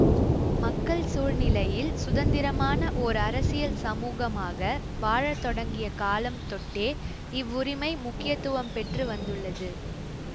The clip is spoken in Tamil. மக்கள் சூழ் நிலையில் சுதந்திரமான ஓர் அரசியல் சமூகமாக வாழத்தொடங்கிய காலம் தொட்டே இவ்வுரிமை முக்கியத்துவம் பெற்று வந்துள்ளது